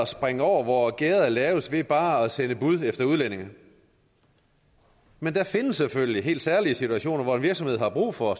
springe over hvor gærdet er lavest ved bare at sende bud efter udlændinge men der findes selvfølgelig helt særlige situationer hvor en virksomhed har brug for